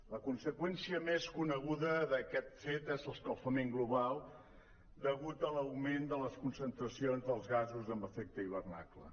la conseqüència més coneguda d’aquest fet és l’escalfament global degut a l’augment de les concentracions dels gasos amb efecte hivernacle